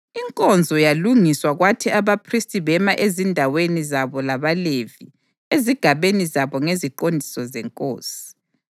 Inkonzo yalungiswa kwathi abaphristi bema ezindaweni zabo labaLevi ezigabeni zabo ngeziqondiso zenkosi.